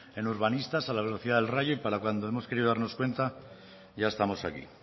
en urbanistas a la velocidad del rayo y para cuando hemos querido darnos cuenta ya estamos aquí